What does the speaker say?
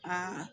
Aa